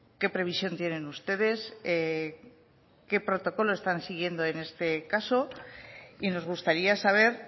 qué previsión tienen ustedes qué protocolo están siguiendo en este caso y nos gustaría saber